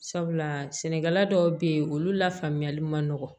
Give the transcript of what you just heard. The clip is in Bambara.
Sabula sɛnɛkɛla dɔw be yen olu la faamuyali ma nɔgɔn